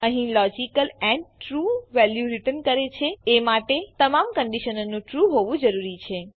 અહીં logical and true value return કરે એ માટે તમામ કંડીશનોનું ટ્રૂ હોવું જરૂરી છે